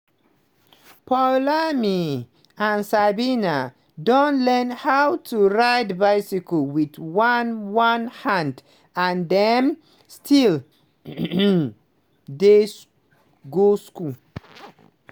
poulami and sabina don learn how to ride bicycle wit one one hand and dem still dey go school.